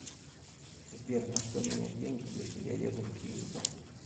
сбер на что менять деньги если я еду в киев